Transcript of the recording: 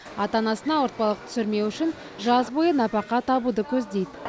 ата анасына ауыртпалық түсірмеу үшін жаз бойы нәпақа табуды көздейді